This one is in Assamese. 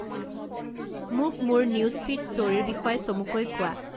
মোক মোৰ নিউজ ফিড ষ্টোৰীৰ বিষয়ে চমুকৈ কোৱা